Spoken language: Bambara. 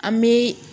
An bi